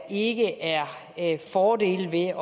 ikke er er fordele ved at